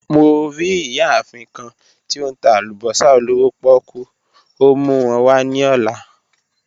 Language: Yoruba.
Mo ri iyaafin kan ti o n ta alubosa olowo poku, o mu wọn wa ni ọla.